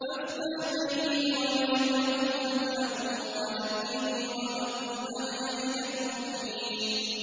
فَافْتَحْ بَيْنِي وَبَيْنَهُمْ فَتْحًا وَنَجِّنِي وَمَن مَّعِيَ مِنَ الْمُؤْمِنِينَ